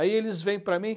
Aí eles vêm para mim.